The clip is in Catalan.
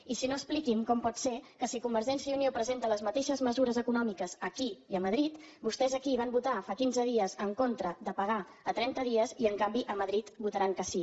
i si no expliqui’m com pot ser que si convergència i unió presenta les mateixes mesures econòmiques aquí i a madrid vostès aquí van votar fa quinze dies en contra de pagar a trenta dies i en canvi a madrid votaran que sí